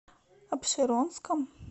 апшеронском